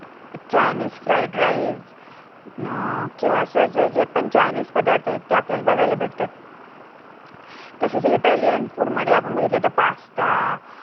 Chinese fried rice um किंवा एसजे पण चायनीज पदार्थ आहे ते आपल्याला बघायला भेटतात, तसेच इटालियन food मध्ये आपण जर बघितलं तर पास्ता